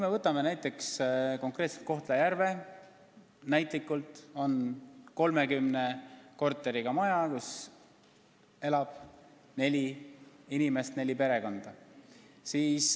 Võtame näiteks konkreetselt Kohtla-Järve 30 korteriga maja, kus elab neli inimest või neli perekonda.